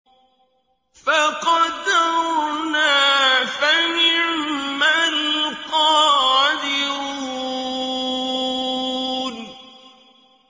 فَقَدَرْنَا فَنِعْمَ الْقَادِرُونَ